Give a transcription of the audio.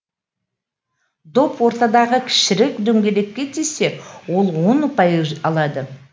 доп ортадағы кішірек дөңгелекке тисе ол он ұпай алады